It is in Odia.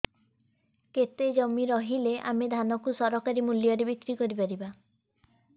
କେତେ ଜମି ରହିଲେ ଆମେ ଧାନ କୁ ସରକାରୀ ମୂଲ୍ଯରେ ବିକ୍ରି କରିପାରିବା